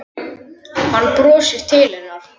Hann brosir til hennar.